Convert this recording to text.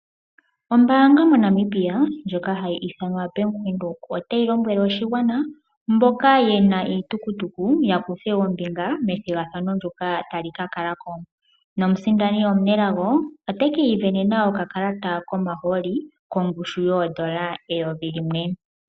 Ombanga moNamibia ndjoka hayi ithanwa Bank Windhoek otayi lombwele oshigwana mboka yena iitukutuku ya kuthe ombinga methigathano ndjoka tali ka kalako. Nomusindani omunelago oteki ivenena okakalata komahooli kongushu yodollar eyovi limwe.